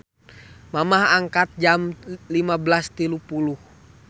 Mamah angkat jam 15.30